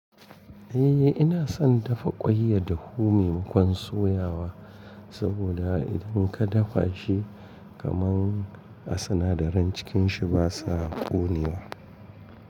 Eh ina son dafa ƙwaiya dahu maimakon soyawa saboda idan ka dafa shi kaman a sinadaran cikin shi basa ƙonewa.